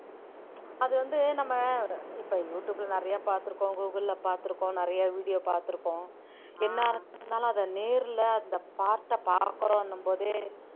அது வந்து நம்ம இப்ப யூடியுப்ல நிறைய பார்த்திருக்கோம் கூகிள்ல பார்த்திருக்கோம் நிறைய video பார்த்திருக்கோம் என்ன இருந்தாலும் அத நேரிலே அந்த பார்த்த பாக்கறோம்ன்னு போதே